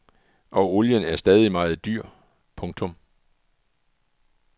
Og olien er stadig meget dyr. punktum